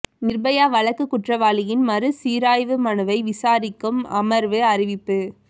நிர்பயா வழக்கு குற்றவாளியின் மறு சீராய்வு மனுவை விசாரிக்கும் அமர்வு அறிவிப்பு